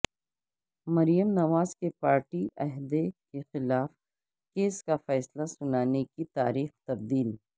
مریم نواز کے پارٹی عہدے کیخلاف کیس کا فیصلہ سنانے کی تاریخ تبدیل